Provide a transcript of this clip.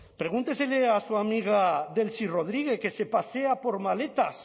pregúntele a su amiga delcy rodríguez que se pasea con maletas